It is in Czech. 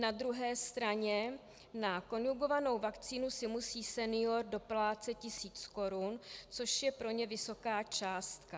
Na druhé straně na konjugovanou vakcínu si musí senior doplácet tisíc korun, což je pro ně vysoká částka.